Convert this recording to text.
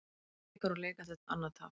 Blikar úr leik eftir annað tap